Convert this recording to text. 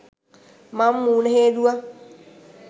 මං මූන හේදුවා.